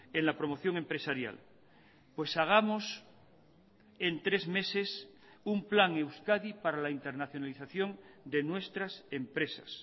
en la promoción empresarial pues hagamos en tres meses un plan euskadi para la internacionalización de nuestras empresas